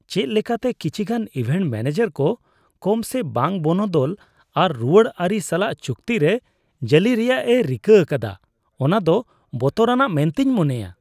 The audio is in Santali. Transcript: ᱪᱮᱫ ᱞᱮᱠᱟᱛᱮ ᱠᱤᱪᱷᱤᱜᱟᱱ ᱤᱵᱷᱮᱱᱴ ᱢᱚᱱᱮᱡᱟᱨ ᱠᱚ ᱠᱚᱢ ᱥᱮ ᱵᱟᱝ ᱵᱚᱱᱚᱫᱚᱞ ᱟᱨ ᱨᱩᱣᱟᱹᱲ ᱟᱹᱨᱤ ᱥᱟᱞᱟᱜ ᱪᱩᱠᱛᱤ ᱨᱮ ᱡᱟᱹᱞᱤ ᱨᱮᱭᱟᱜᱼᱮ ᱨᱤᱠᱟᱹ ᱟᱠᱟᱫᱟ ᱚᱱᱟ ᱫᱚ ᱵᱚᱛᱚᱨᱟᱱᱟᱜ ᱢᱮᱱᱛᱮᱧ ᱢᱚᱱᱮᱭᱟ ᱾